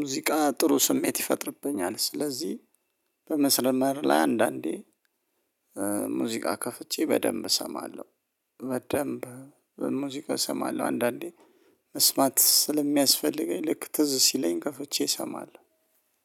ሙዚቃ ጥሩ ስሜት ይፈጥርብኛል። ስለዚህ በመስመር ላይ አንዳንዴ ሙዚቃ ከፍቼ በደንብ እሰማለሁ። በደንብ ሙዚቃ እሰማለሁ አንዳንዴ መስማት ስለሚያስፈልገኝ ልክ ትዝ ሲለኝ ከፈቼ እሰማለሁ።